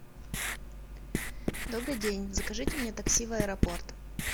добрый день закажите мне такси в аэропорт